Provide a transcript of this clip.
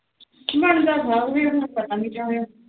ਬਣਦਾ ਥਾ ਫੇਰ ਪਤਾ ਨੀ ਕਿਆ ਹੋਇਆ